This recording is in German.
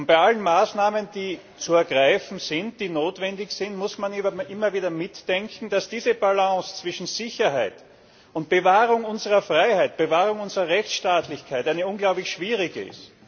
Bei allen Maßnahmen, die zu ergreifen sind, die notwendig sind, muss man immer wieder mit bedenken, dass diese Balance zwischen Sicherheit und Bewahrung unserer Freiheit, Bewahrung unserer Rechtsstaatlichkeit eine unglaublich schwierige ist.